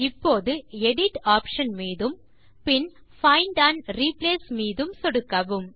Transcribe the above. இப்போது edit option மீதும் பின் பைண்ட் ஆண்ட் ரிப்ளேஸ் மீதும் சொடுக்கவும்